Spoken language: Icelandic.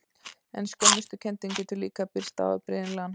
En skömmustukenndin getur líka birst á afbrigðilegan hátt.